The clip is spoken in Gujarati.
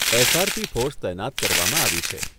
એસ.આર.પી ફોર્સ તૈનાત કરવામાં આવી છે.